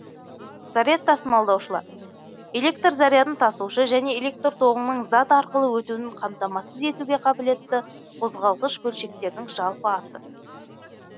заряд тасымалдаушылар электр зарядын тасушы және электр тоғының зат арқылы өтуін қамтамасыз етуге қабілетгі қозғалғыш бөлшектердің жалпы аты